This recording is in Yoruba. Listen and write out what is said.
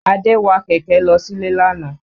Adé wa kẹ̀kẹ́ lọ sílé àna.